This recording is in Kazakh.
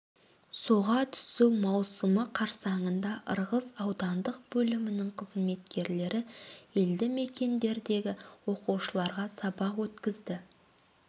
суға түсу маусымы қарсаңында ырғыз аудандық бөлімінің қызметкерлері елді мекендердегі оқушыларға сабақ өткізді